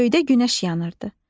Göydə günəş yanırdı.